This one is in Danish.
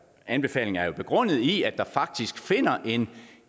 anbefalingen er jo begrundet i at der faktisk finder en